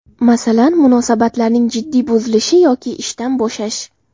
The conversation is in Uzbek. Masalan, munosabatlarning jiddiy buzilishi yoki ishdan bo‘shash.